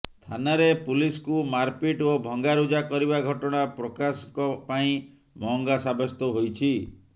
ଥାନାରେ ପୁଲିସକୁ ମାରପିଟ୍ ଓ ଭଙ୍ଗାରୁଜା କରିବା ଘଟଣା ପ୍ରକାଶଙ୍କ ପାଇଁ ମହଙ୍ଗା ସାବ୍ୟସ୍ତ ହୋଇଛି